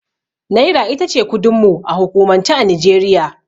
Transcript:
Naira itace kudin mu a hukumance a Nijeriya